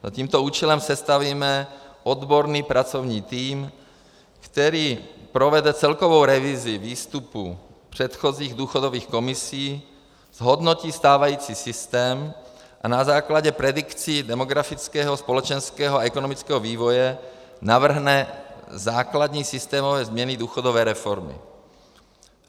Za tímto účelem sestavíme odborný pracovní tým, který provede celkovou revizi výstupů předchozích důchodových komisí, zhodnotí stávající systém a na základě predikcí demografického, společenského a ekonomického vývoje navrhne základní systémové změny důchodové reformy.